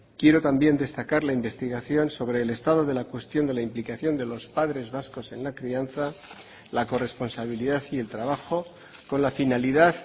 quiero también destacar la investigación sobre el estado de la cuestión de la implicación de los padres vascos en la crianza la corresponsabilidad y el trabajo con la finalidad